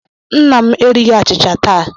Nna m erighi achịcha taa.